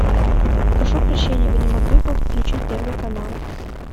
прошу прощения вы не могли бы включить первый канал